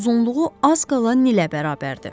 Uzunluğu az qala nilə bərabərdir.